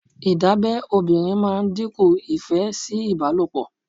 Ìdábẹ́ obìnrin ma ń díkùn ìfẹ́ sí ìbálòpọ̀